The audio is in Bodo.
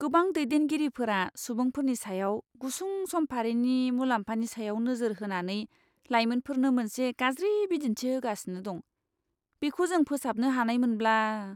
गोबां दैदेनगिरिफोरा सुबुंफोरनि सायाव गुसुं समफारिनि मुलाम्फानि सायाव नोजोर होनानै लायमोनफोरनो मोनसे गाज्रि बिदिन्थि होगासिनो दं। बेखौ जों फोसाबनो हानायमोनब्ला!